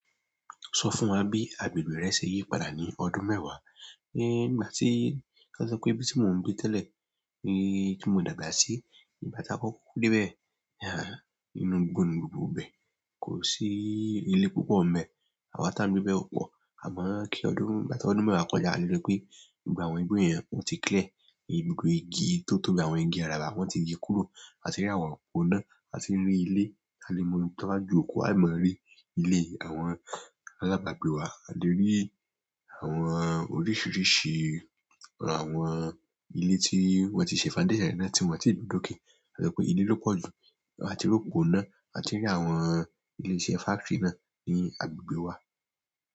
Sọ fún wa bí agbègbè rẹ ṣe yí padà ní ọdún mẹ́wàá. Nígbà tí a sọ pé ibi tí mo ń gbé tẹ́lẹ̀ tí mo dàgbà sí ígbà tí a kọ́kó ko dé bẹ́ẹ̀ inú igbò ni gbogbo ibẹ̀ kò sí ilé púpọ̀ ń bẹ àwa tí a ń gbé bẹ́ ò pọ̀ àmọ́ kí ọdún igbati ọdún mẹ́wàá kọjá a lè rí pé gbogbo àwọn igbó yẹn ọ́ ti clear. Gbogbo igi tótóbí àwọn igi araba wọ́n ti ge kúrò a tì rí àwọn òpóná a tì rí ilé a lè mọ ohun tí wọ́n bá ju òkú a máa rí ilé àwọn alábàgbé wa a lè rí àwọn oríṣiríṣi àwọn ilé tí wọ́n ti ṣe foundation re náà tí wọn ti gbe dókè to je pe ilé ló pọ̀ jù àti ri opo ina a ti n rí àwọn ilé iṣẹ́ factory náà ní agbègbè wa.